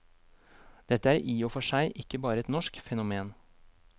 Dette er i og for seg ikke bare et norsk fenomen.